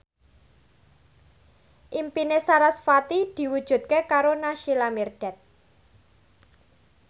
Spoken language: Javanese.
impine sarasvati diwujudke karo Naysila Mirdad